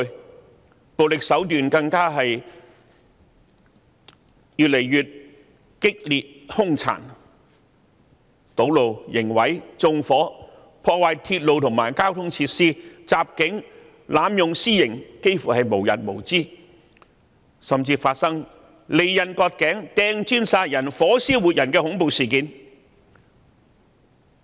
他們的暴力手段更越見激烈和兇殘，堵路、刑毀、縱火、破壞鐵路和交通設施、襲警、濫用私刑幾乎無日無之，甚至發生利刃割頸、擲磚殺人、火燒活人的恐怖事件。